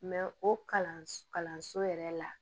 o kalanso yɛrɛ la